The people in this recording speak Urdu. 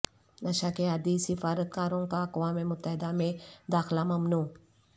نشہ کے عادی سفارتکاروں کا اقوام متحدہ میں داخلہ ممنوع